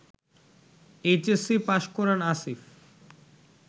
HSC pass করেন আসিফ